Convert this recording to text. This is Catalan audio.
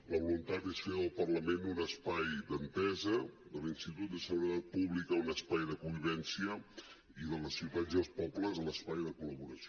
la voluntat és fer del parlament un espai d’entesa de l’institut de seguretat pública un espai de convivència i de les ciutats i els pobles l’espai de col·laboració